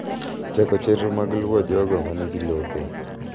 Chako chenro mag luwo jogo ma nigi lope.